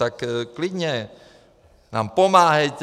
Tak klidně nám pomáhejte.